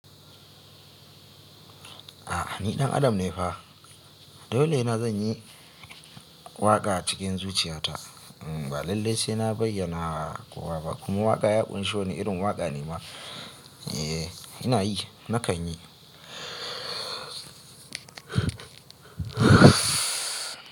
A'a ni ɗan Adam ne fa, dole ina zan yi waƙa cikin zuciya ta. Ba lallai sai na bayyana kowa ba. Kuma waƙa ya ƙunshi wane irin waƙa ne ma. Eh ina yi, na kan yi.